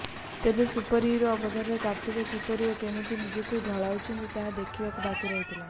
ତେବେ ସୁପରହିରୋ ଅବତାରରେ କାର୍ତ୍ତିକ କିପରି ଓ କେମିତି ନିଜକୁ ଢଳାଉଛନ୍ତି ତାହା ଦେଖିବାକୁ ବାକି ରହିଲା